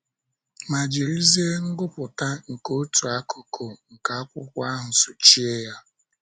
Ma jirizie ngụpụta nke otu akụkụ nke akwụkwọ ahụ sochie ya!